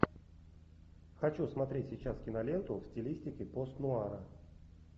хочу смотреть сейчас киноленту в стилистике постнуара